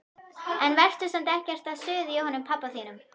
En vertu samt ekkert að suða í honum pabba þínum.